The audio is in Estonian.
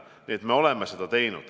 Nii et me oleme seda teinud.